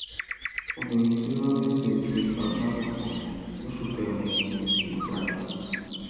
obìnrin tí robbinson fipá bá lò pọ lóṣù kẹrin kò tí ì gbádùn